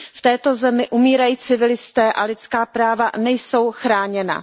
V této zemi umírají civilisté a lidská práva nejsou chráněna.